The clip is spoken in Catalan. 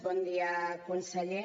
bon dia conseller